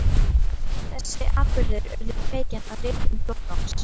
Þessir atburðir urðu kveikjan að ritun Flóttans.